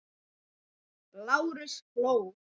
Lárus hló.